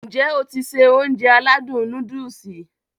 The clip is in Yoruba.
N jẹ́ o ti se Ounjẹ aládùn nóódùsì?